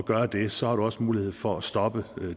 gøre det så har man også mulighed for at stoppe